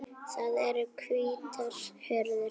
Það eru hvítar hurðir.